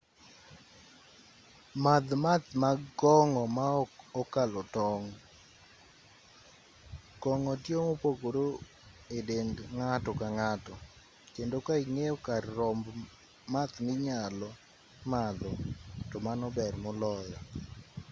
madh math mag kong'o ma ok okalo tong' kong'o tiyo mopogore e dend ng'ato ka ng'ato kendo ka ing'eyo kar romb math minyalo madho to mano ber moloyo